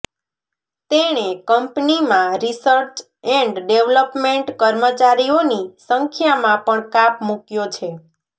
તેણે કંપનીમાં research and development કર્મચારીઓની સંખ્યામાં પણ કાપ મૂક્યો છે